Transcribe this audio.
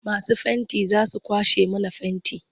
Masu fenti za su kwashe mana fenti.